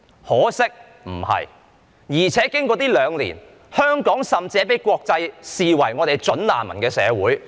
可惜事情不是這樣，況且經過這兩年，香港甚至已經被國際視為"準難民"的社會。